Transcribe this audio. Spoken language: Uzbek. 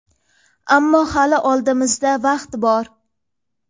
Ammo hali oldimizda vaqt bor.